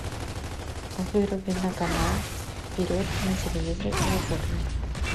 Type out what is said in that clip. выруби на канал вперед на телевизоре в уборной